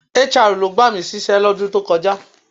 HR ló gbà mí sí iṣẹ́ lọ́dún tó kọjá